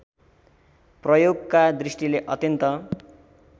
प्रयोगका दृष्टिले अत्यन्त